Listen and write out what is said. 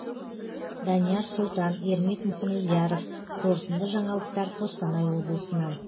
данияр сұлтан ермек мұхамедияров қорытынды жаңалықтар қостанай облысынан